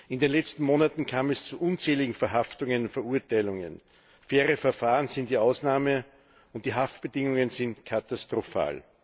In den letzten Monaten kam es zu unzähligen Verhaftungen und Verurteilungen. Faire Verfahren sind die Ausnahme, und die Haftbedingungen sind katastrophal.